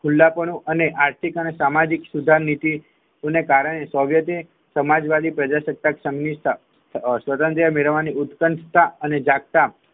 ખુલ્લાપણું અને આર્થિક અને સામાજિક સુધારનીતિને કારણે સોંગટે સમાજવાદી પ્રજાસત્તાક સંઘ ની સ્થાપ સ્વતંત્ર્ય મેળવની ઉત્પનતને જાગતા